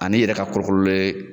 An'i yɛrɛ ka kolo kololen.